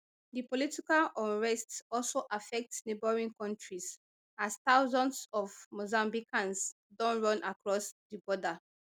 di political unrest also affect neighbouring kontris as thousands of mozambicans don run across di border